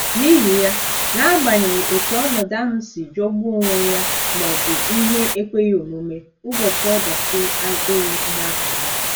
N'ihi ya, n'agbanyeghị otú ọnọdụ ahụ si jọgbuo onwe ya ma ọ bụ ihe ekweghị omume, ụbọchị ọdachi abụghị ihe akara aka.